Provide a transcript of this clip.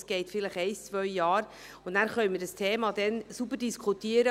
Es dauert vielleicht ein, zwei Jahre, und dann können wir das Thema sauber diskutieren.